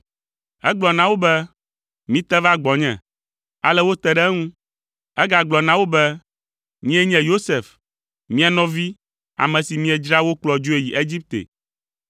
Egblɔ na wo be, “Mite va gbɔnye.” Ale wote ɖe eŋu. Egagblɔ na wo be, “Nyee nye Yosef, mia nɔvi, ame si miedzra wokplɔ dzoe yi Egipte!